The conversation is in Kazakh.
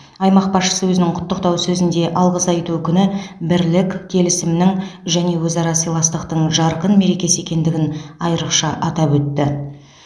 аймақ басшысы өзінің құттықтау сөзінде алғыс айту күні бірлік келісімнің және өзара сыйластықтың жарқын мерекесі екендігін айрықша атап өтті